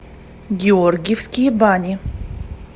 георгиевские бани